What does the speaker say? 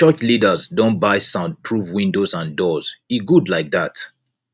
di church leaders don buy sound proof windows and doors e good like dat